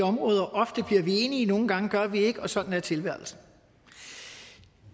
områder ofte bliver vi enige nogle gange gør vi ikke og sådan er tilværelsen